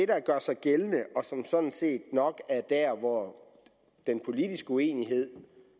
der gør sig gældende og som sådan set nok er der hvor den politiske uenighed